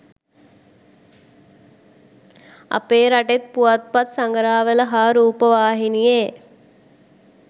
අපේ රටෙත් පුවත්පත් සඟරාවල හා රූපවාහිනියේ